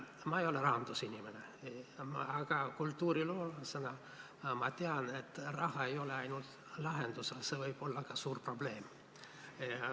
Ma ei ole rahandusinimene, aga kultuuriloolasena ma tean, et raha ei ole ainult lahendus, see võib olla ka suur probleem.